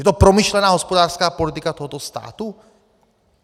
Je to promyšlená hospodářská politika tohoto státu?